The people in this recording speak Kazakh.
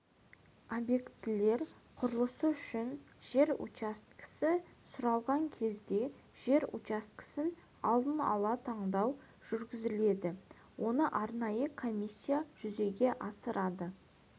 объектілер құрылысы үшін жер учаскесі сұралған кезде жер учаскесін алдын ала таңдау жүргізіледі оны арнайы комиссия жүзеге асырады